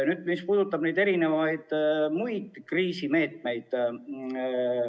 Nüüd sellest, mis puudutab muid kriisimeetmeid.